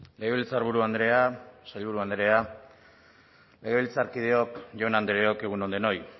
legebiltzarburu andrea sailburu andrea legebiltzarkideok jaun andreok egun on denoi